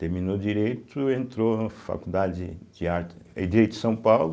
Terminou Direito, entrou na Faculdade de arte, fez Direito em São Paulo.